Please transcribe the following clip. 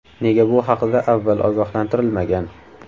Nega bu haqida avval ogohlantirilmagan?